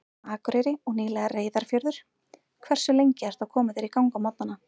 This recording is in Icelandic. Akureyri og nýlega Reyðarfjörður Hversu lengi ertu að koma þér í gang á morgnanna?